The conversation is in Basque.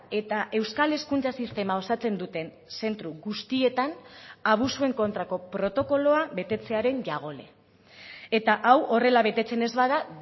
eta euskal hezkuntza sistema osatzen duten zentro guztietan abusuen kontrako protokoloa betetzearen jagole eta hau horrela betetzen ez bada